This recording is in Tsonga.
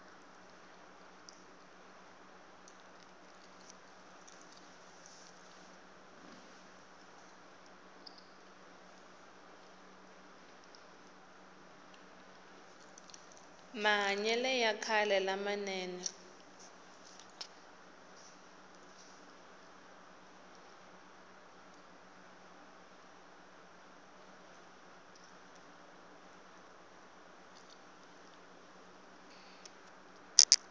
mahanyele ya khale la manene